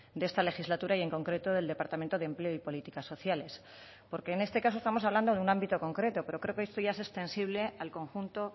de esta legislatura y en concreto del departamento de empleo y políticas sociales porque en este caso estamos hablando de un ámbito concreto pero creo que esto ya es extensible al conjunto